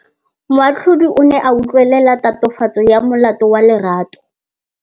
Moatlhodi o ne a utlwelela tatofatsô ya molato wa Lerato.